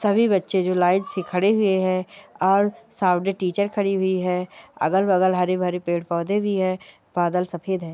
सभी बच्चे जो लाइन से खड़े हुए हैं और सामने टीचर खड़ी हुई है अगल-बगल हरे-भरे पेड़-पोधे भी हैं बादल सफेद है।